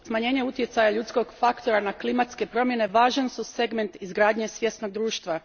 Smanjenje utjecaja ljudskog faktora na klimatske promjene važan su segment izgradnje svjesnog društva.